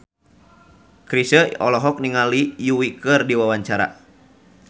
Chrisye olohok ningali Yui keur diwawancara